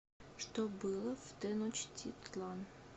что было в теночтитлан